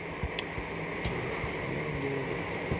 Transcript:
телефон друга